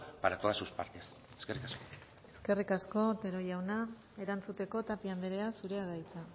para todas sus partes eskerrik asko eskerrik asko otero jauna erantzuteko tapia andrea zurea da hitza